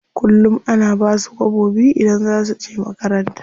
Kullum ana basu kwabo biyu idan za suje makaranta.